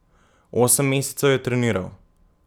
Osem mesecev je treniral?